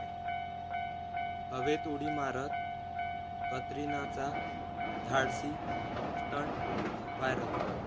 हवेत उडी मारत कतरिनाचा धाडसी स्टंट व्हायरल!